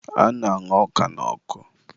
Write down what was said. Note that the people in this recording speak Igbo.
a na-aña ọka n'ọkụ